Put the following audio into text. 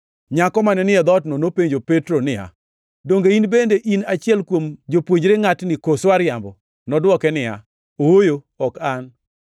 Nyako mane ni e dhootno nopenjo Petro niya, “Donge in bende in achiel kuom jopuonjre ngʼatni, koso ariambo?” Nodwoke niya, “Ooyo, ok an.”